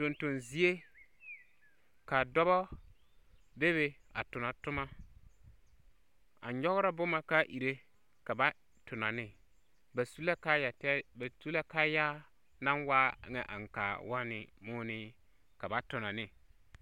Tonton zie ka dɔbɔ be be a tona toma, a nyɔgra boma k'a ire ka va tona ne. Ba su la kaayɛtɛɛ ba tu la kaayaa naŋ waa ŋɛ aŋkaa wɔnne moɔnee ka ba tonɔ ne.